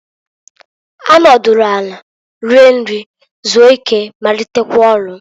Ha nọdụlụ anị rie nri, zuo ike, malitekwa ọlụ.